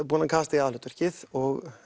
búinn að kasta í aðalhlutverkið og